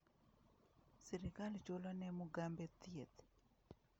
Sirikal chulo ne Mugabe thieth.